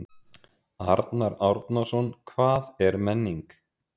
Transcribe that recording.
Arnar Árnason: Hvað er menning?